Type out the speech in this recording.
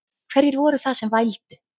Hverjir voru það sem vældu?